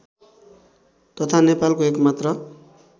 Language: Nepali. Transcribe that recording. तथा नेपालको एकमात्र